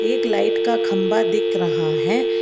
एक लाइट का खंबा दिख रहा है।